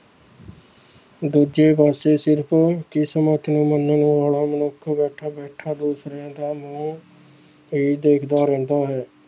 ਦੂਜੇ ਪਾਸੇ ਸਿਰਫ਼ ਕਿਸਮਤ ਨੂੰ ਮੰਨਣ ਵਾਲਾ ਮਨੁੱਖ ਬੈਠਾ ਬੈਠਾ ਦੂਸਰਿਆਂ ਦਾ ਮੂੰਹ ਹੀ ਦੇਖਦਾ ਰਹਿੰਦਾ ਹੈ।